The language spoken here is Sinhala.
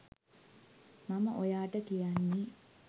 මම ඔයාට කියන්නෙ.